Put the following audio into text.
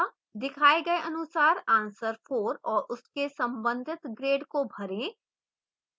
दिखाए गए अनुसार answer 4 और उसके संबंधित grade को भरें